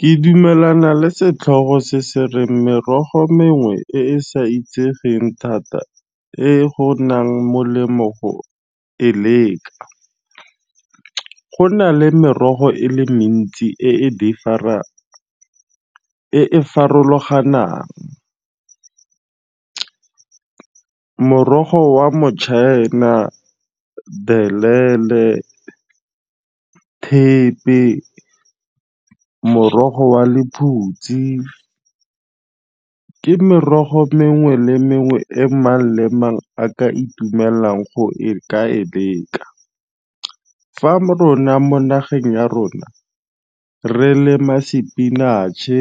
Ke dumelana le setlhogo se se reng merogo mengwe e e sa itsegeng thata e go nang molemo go e leka. Go na le merogo e le mentsi e e farologanang, morogo wa motšhaena, belele, thepe, morogo wa lephutsi. Ke merogo mengwe le mengwe e mang le mang a ka itumelelang go e ka e leka. Fa rona mo nageng ya rona re lema sepinatšhe,